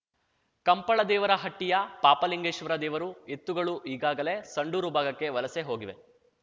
ಕಂಪಳದೇವರಹಟ್ಟಿಯ ಪಾಪಲಿಂಗೇಶ್ವರ ದೇವರು ಎತ್ತುಗಳು ಈಗಾಗಲೇ ಸಂಡೂರು ಭಾಗಕ್ಕೆ ವಲಸೆಹೋಗಿವೆ